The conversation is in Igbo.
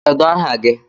Kedu aha gi?